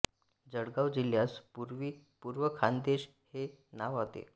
जळगाव जिल्ह्यास पूर्वी पूर्व खानदेश हे नाव होते